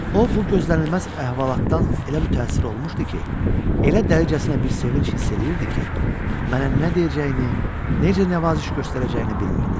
O, bu gözlənilməz əhvalatdan elə mütəəssir olmuşdu ki, elə dərəcəsinə bir sevinc hiss eləyirdi ki, mənə nə deyəcəyini, necə nəvaziş göstərəcəyini bilmirdi.